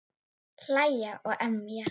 Hlæja og emja.